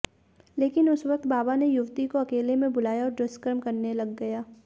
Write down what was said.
लेकिन उस वक्त बाबा ने युवती को अकेले में बुलाया और दुष्कर्म करने लग गया